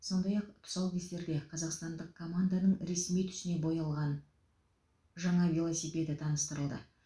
сондай ақ тұсаукесерде қазақстандық команданың ресми түсіне боялған жаңа велосипеді таныстырылды